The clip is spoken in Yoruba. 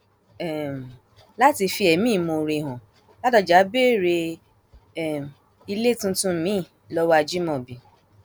um láti fi ẹmí ìmoore hàn ládọjá béèrè um ilé tuntun miín lọwọ ajimobi